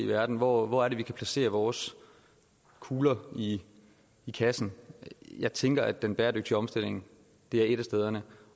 verden hvor hvor er det vi kan placere vores kugler i i kassen jeg tænker at den bæredygtige omstilling er et af stederne